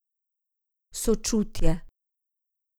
Sočutje.